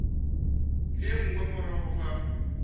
le ye nngwe morago ga